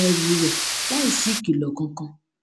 ẹrù rè láìsí ìkìlò kankan